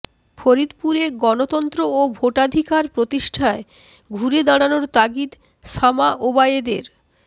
ফরিদপুরে গণতন্ত্র ও ভোটাধিকার প্রতিষ্ঠায় ঘুরে দাঁড়ানোর তাগিদ শামা ওবায়েদের